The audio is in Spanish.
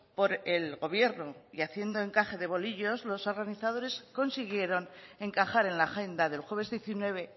por el gobierno y haciendo encaje de bolillos los organizadores consiguieron encajar en la agenda del jueves diecinueve